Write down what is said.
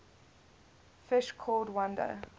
fish called wanda